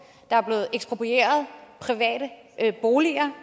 der er blevet eksproprieret private boliger